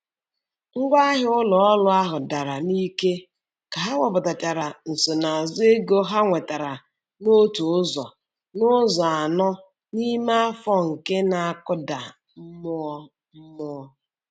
Ngwaahịa ụlọ ọrụ ahụ dara n'ike ka ha wepụtachara nsonaazụ ego ha nwetara n'otu ụzọ n'ụzọ anọ n'ime afọ nke na-akụda mmụọ. mmụọ.